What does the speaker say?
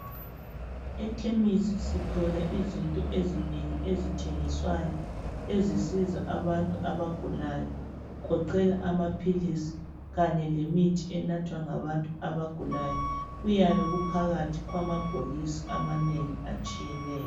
Ekhemisi sithola izinto ezinengi ezithengiswayo ezisiza abantu abagulayo kugoqela amaphilisi kanye lemithi enathwa ngabantu abagulayo kuyabe kuphakathi kwamabhokisi amanengi atshiyeneyo.